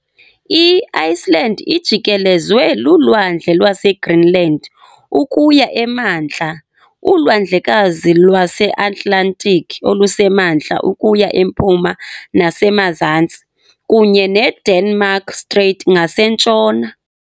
I-Iceland ijikelezwe luLwandle lwaseGreenland ukuya emantla, uLwandlekazi lwaseAtlantiki oluseMantla ukuya empuma nasemazantsi, kunye neDenmark Strait ngasentshona.